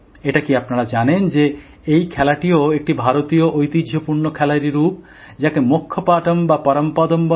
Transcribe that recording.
এটা কি আপনারা জানেন যে এই খেলাটিও একটি ভারতীয় ঐতিহ্যপূর্ণ খেলারই রূপ যাকে মোক্ষ পাটম বা পরমপদম বলে